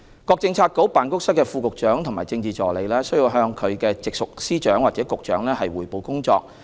各政策局/辦公室的副局長和政治助理須向其直屬司長或局長匯報工作。